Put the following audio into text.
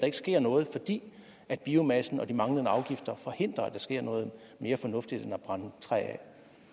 ikke sker noget fordi biomassen og de manglende afgifter forhindrer at der sker noget mere fornuftigt end at brænde træ